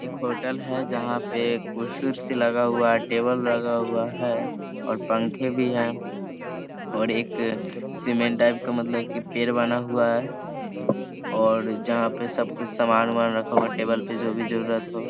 एक होटल है जहाँ पे कुर्सी उर्सी लगा हुआ है। टेबल लगा हुआ है और पंखे भी हैं और एक सीमेंट टाइप का मतलब की पेड़ बना हुआ है और जहाँ पे सब कुछ समान उमान रखा हुआ है टेबल पे जो भी जरूरत हो।